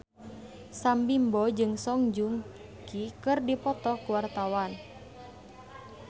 Sam Bimbo jeung Song Joong Ki keur dipoto ku wartawan